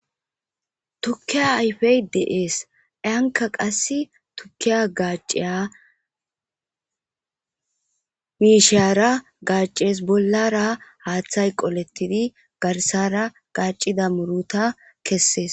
tukiya ayfey deees anka qass tukiya gaaciya biishara gacees bollara haaththay qolettidi garsara gacida muruta kessees